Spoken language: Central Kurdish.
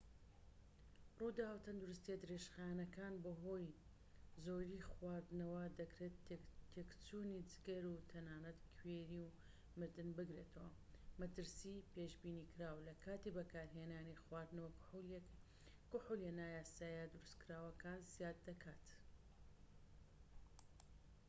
ڕووداوە تەندروستییە درێژخایەنەکان بەهۆی زۆر خواردنەوە دەکرێت تێکچوونی جگەر و تەنانەت کوێری و مردن بگرێتەوە مەترسی پێشبینیکراو لە کاتی بەکارهێنانی خواردنەوە کحولیە نایاساییە دروستکراوەکان زیاد دەکات